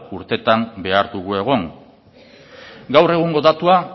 urtetan behar dugu egon gaur egungo datua